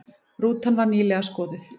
Rútan var nýlega skoðuð